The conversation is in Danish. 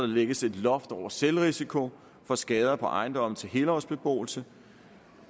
lægges et loft over selvrisikoen for skader på ejendomme til helårsbeboelse